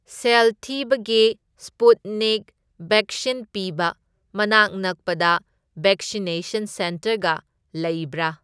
ꯁꯦꯜ ꯊꯤꯕꯒꯤ Sputnik vaccine ꯄꯤꯕ ꯃꯅꯥꯛ ꯅꯛꯄꯗ ꯕꯦꯛꯁꯤꯅꯦꯁꯟ ꯁꯦꯟꯇꯔꯒ ꯂꯩꯕ꯭ꯔꯥ?